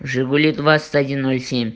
жигули двадцать один ноль семь